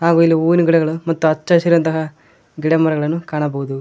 ಹಾಗು ಇಲ್ಲಿ ಹೂವಿನ ಗಿಡಗಳು ಮತ್ತು ಹಚ್ಚ ಹಸಿರಂತಹ ಗಿಡ ಮರಗಳನ್ನು ಕಾಣಬಹುದು.